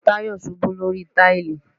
Tayo ṣubú lórí táìlì